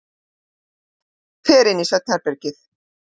Fer inn í svefnherbergið.